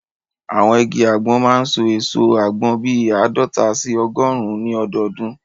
Àwọn igi àgbọn máa n so èso àgbọn bíi àádọta sí ọgọrùn ní ọdọdún